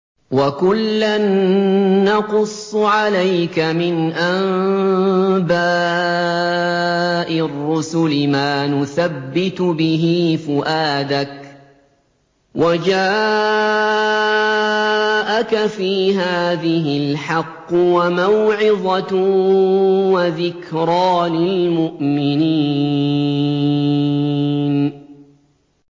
وَكُلًّا نَّقُصُّ عَلَيْكَ مِنْ أَنبَاءِ الرُّسُلِ مَا نُثَبِّتُ بِهِ فُؤَادَكَ ۚ وَجَاءَكَ فِي هَٰذِهِ الْحَقُّ وَمَوْعِظَةٌ وَذِكْرَىٰ لِلْمُؤْمِنِينَ